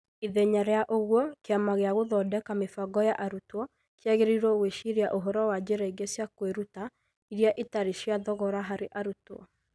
Ithenya rĩa ũguo, Kĩama gĩa gũthondeka mĩbango ya arutwo kĩagĩrĩirũo gwĩciria ũhoro wa njĩra ingĩ cia kwĩruta iria itarĩ cia thogora harĩ arutwo.